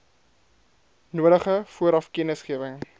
nodige vooraf kennisgewing